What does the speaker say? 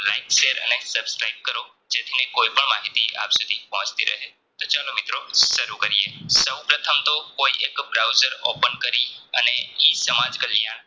અને Subscribe કરો જેથીને કોઈપણ માહિતી આપ સુધી પહોંચતી રહે તો ચાલો મિત્રો સરું કરીયે સૌપ્રથમતો કોઈ એક browser Open કરી અને E સમાંજ કલ્યાણ